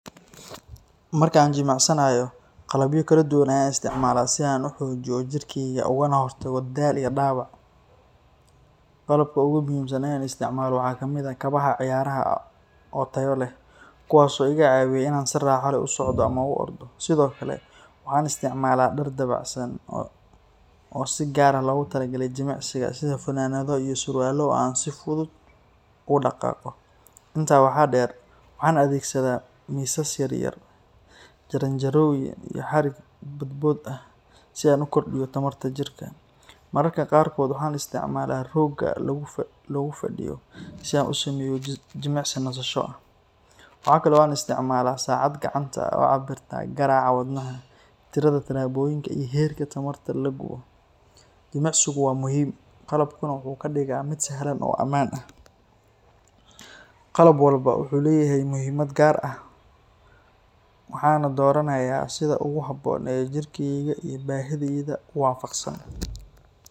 Markaan jimicsanaayo qalabyo fara badan ayaan isticmaalaa si aan uxoojiyo jirkeyga uguna hor tago daal iyo daawac, qalabka oogu muhiimsan aan isticmaalo waxaa waye kabaha ciyaaraha oo tayo leh, kuwaas oo iga caawiyo inaan si raaxa leh usocdo ama aan u ordo, sido kale waxaan isticmaalaa dar fudud oo fanadada iyo surwaala aan si fudud ugu daqaaqo, waxaan adegsadaa miisya yar yar, jarjarooyin iyo xarig bodbood ah si aan uxoojiyo tamarta jirka, jimicsigu waa muhiim, qalab walbo wuxuu leyahay muhiimad gaar ah, waxaana dooranaya si ugu haboon oo jirkeyga iyo baahideyda waafaqsan.